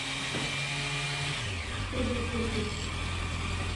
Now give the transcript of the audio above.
чудо техники